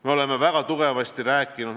Me oleme väga tugevasti rääkinud ...